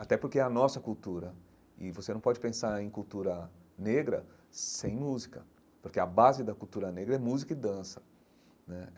Até porque é a nossa cultura, e você não pode pensar em cultura negra sem música, porque a base da cultura negra é música e dança né.